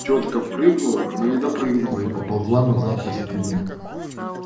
тётка прыгнула но не допрыгнула и поползла назад по стене